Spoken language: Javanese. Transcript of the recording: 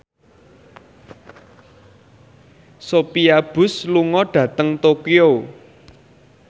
Sophia Bush lunga dhateng Tokyo